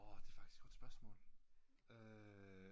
Det er faktisk et godt spørgsmål øh